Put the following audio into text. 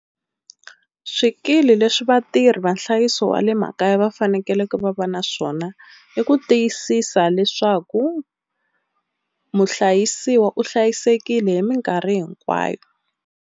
Swikili leswi vatirhi va nhlayiso wa le makaya va fanekele va va na swona, i ku tiyisisa leswaku muhlayisiwa u hlayisekile hi minkarhi hinkwayo.